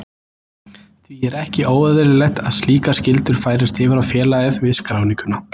Því er ekki óeðlilegt að slíkar skyldur færist yfir á félagið við skráninguna.